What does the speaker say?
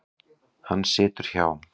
Hann situr hjá